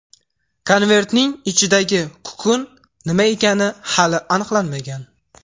Konvertning ichidagi kukun nima ekani hali aniqlanmagan.